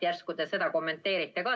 Järsku te seda kommenteeriksite ka.